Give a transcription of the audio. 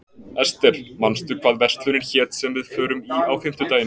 Ester, manstu hvað verslunin hét sem við fórum í á fimmtudaginn?